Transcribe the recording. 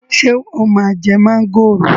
Ṣé o máa jẹ mọ́ngòrò